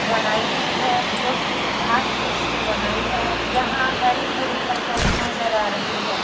बनाई हुई है जो कि घास फुस से बनाई है यहाँ हरी-भारी फसल नजर आ रही है।